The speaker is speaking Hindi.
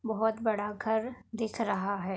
बोहोत बड़ा घर दिख रहा है।